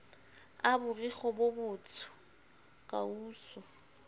a borikgwe bo botsho kausu